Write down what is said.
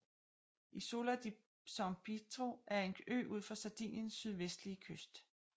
Isola di San Pietro er en ø ud for Sardiniens sydvestlige kyst